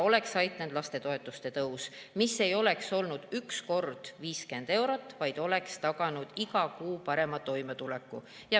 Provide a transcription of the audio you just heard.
Oleks aidanud lastetoetuste tõus, mis ei oleks olnud üks kord 50 eurot, vaid oleks taganud iga kuu parema toimetuleku.